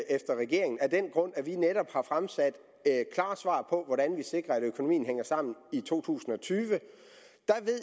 efter regeringen af den grund at vi netop har fremsat klare svar på hvordan vi sikrer at økonomien hænger sammen i to tusind og tyve